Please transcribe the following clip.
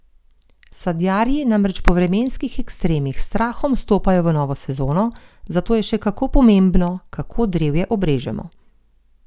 Sadjarji namreč po vremenskih ekstremih s strahom stopajo v novo sezono, zato je še kako pomembno, kako drevje obrežemo.